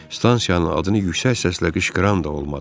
Stansiyanın adını yüksək səslə qışqıran da olmadı.